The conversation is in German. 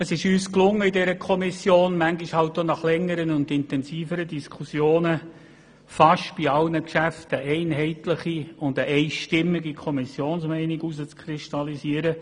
Es ist uns in der Kommission gelungen, manchmal halt auch nach längeren und intensiveren Diskussionen, bei fast allen Geschäften eine einheitliche und einstimmige Kommissionsmeinung herauszukristallisieren.